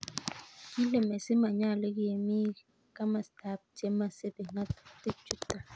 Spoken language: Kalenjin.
Kile Messi manyolu kemi kamstab chemasibi ngatutik chuton